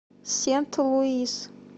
сент луис